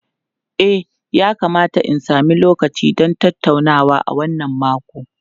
E, yakamata in sami lokaci don tattaunawa a wannan makon.